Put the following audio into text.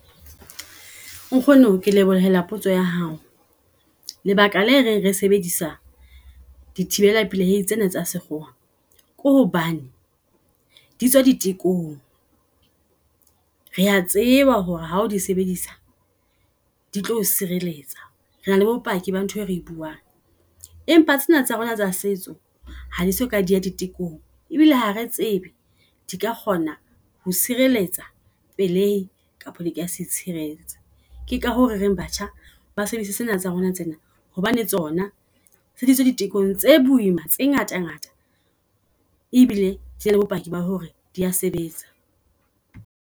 Nkgono ke lebohela potso ya hao. Lebaka la re re sebedisa di thibella tsena tsa sekgowa, ke hobane ditswa di tekong. Re a tseba hore ha o di sebedisa ditlo. O sireletsa rena le bopaki ba ntho e re buang. Empa tsena tsa rona tsa setso hadi soka diya di tekong ebile ha re tsebe di ka kgona ho sireletsa pelei kapa di ka se e itshireletse. Keka hoo re reng batjha ba sebetsi sena tsa rona tsena hobane tsona di tekong tse boima tse ngata ngata. E bile le bopaki ba hore dia sebetsa.